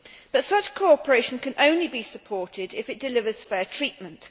But such cooperation can only be supported if it delivers fair treatment.